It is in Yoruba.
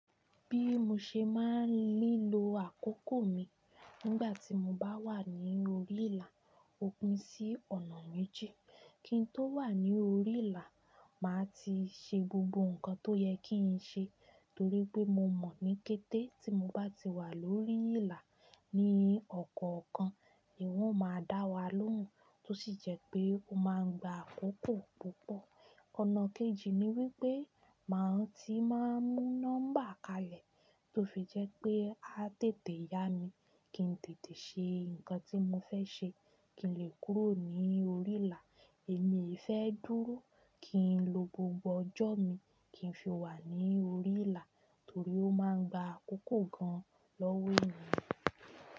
Bí mo ṣe máa ń lílo àkókò mi nígbà tí mo bá wà ní orí ìlà, òpin sí ọ̀nà méjì. Kin tó wà ní orí ìlà, màá ti ṣe gbogbo nǹkan tó yẹ kí n ṣe torí pé mo mọ̀ ní kété tí mo bá ti wà lórí ìlà ní ọ̀kọ̀ọ̀kan ni wọ́n máa dá wa lóhùn tó sì jẹ́ pé ó máa ń gba àkókò púpọ̀. Ọ̀nà kejì ni wípé màá ti máa ń mú nọ́mbà kalẹ̀ tó fi jẹ́ pé a tètè yá mi kí ń tètè ṣe nǹkan tí mo fẹ́ ṣe kí n lè kúrò ní orí ìlà. Èmi e fẹ́ dúró kí n lo gbogbo ọjọ́ mi kí n fi wà ní orí ìlà torí ó máa ń gba àkókò gan lọ́wọ́ èèyàn.